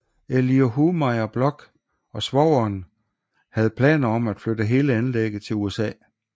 Eliahu Meir Bloch og svogeren havde planer om at flytte hele anlægget til USA